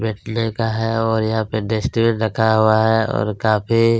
बैठने का है और यहाँ पे डस्टबिन रखा हुआ है और काफ़ी --